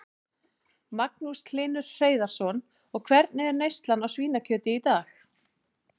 Magnús Hlynur Hreiðarsson: Og hvernig er neyslan á svínakjöti í dag?